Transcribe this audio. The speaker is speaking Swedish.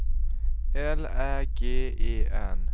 L Ä G E N